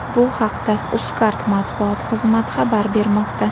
Bu haqda Uzcard matbuot xizmati xabar bermoqda .